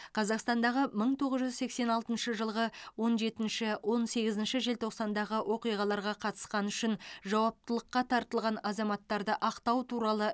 қазақстандағы мың тоғыз жүз сексен алтыншы жылғы он жетінші он сегізінші желтоқсандағы оқиғаларға қатысқаны үшін жауаптылыққа тартылған азаматтарды ақтау туралы